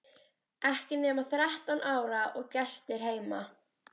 Ekki nema þrettán ára og gestir heima!